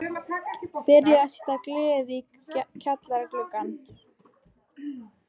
Byrjað að setja glerið í kjallara gluggana.